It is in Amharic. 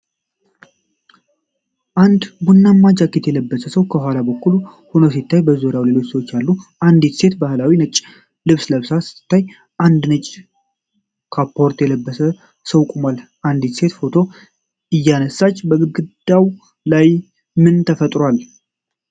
አንድ ቡናማ ጃኬት የለበሰ ሰው ከኋላ በኩል ሆኖ ሲታይ፣ በዙሪያው ሌሎች ሰዎች አሉ። አንዲት ሴት ባህላዊ ነጭ ልብስ ለብሳ ስትታይ፣ አንድ ነጭ ካፖርት የለበሰ ሰው ቆሟል። አንዲት ሴት ፎቶ እያነሳች ፣ በግድግዳው ላይ ምን ተለጥፈዋል?